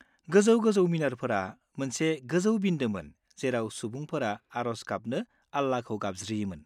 -गोजौ-गोजौ मिनारफोरा मोनसे गोजौ बिन्दोमोन जेराव सुबुंफोरा आरज गाबनो आल्लाखौ गाबज्रियोमोन।